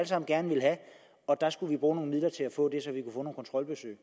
sammen gerne ville have og der skulle vi bruge nogle midler til at få nogle kontrolbesøg